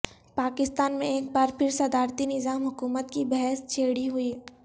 پاکستان میں ایک بار پھر صدراتی نظام حکومت کی بحث چھیڑی ہوئی